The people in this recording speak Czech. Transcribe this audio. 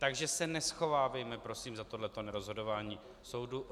Takže se neschovávejme, prosím, za tohle nerozhodování soudu.